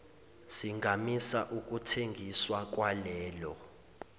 singamisa ukuthengiswa kwalelo